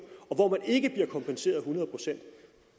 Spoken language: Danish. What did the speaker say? og hvor man ikke bliver kompenseret et hundrede procent